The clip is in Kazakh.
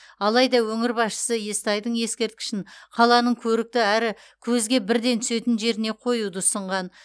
алайда өңір басшысы естайдың ескерткішін қаланың көрікті әрі көзге бірден түсетін жеріне қоюды ұсынған